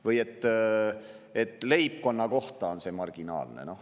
Või et leibkonna kohta on see marginaalne.